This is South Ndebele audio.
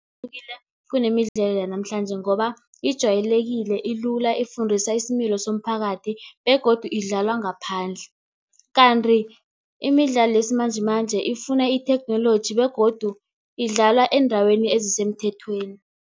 Ihlukile kunemidlalo yanamhlanje ngoba ijwayelekile ilula ifundisa isimilo somphakathi, begodu idlalwa ngaphandle. Kanti imidlalo yesimanjemanje ifuna itheknoloji begodu idlalwa eendaweni ezisemthethweni.